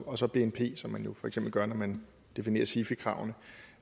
og så bnp som man jo for eksempel gør når man definerer sifi kravene